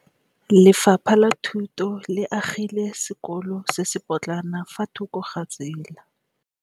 Lefapha la Thuto le agile sekôlô se se pôtlana fa thoko ga tsela.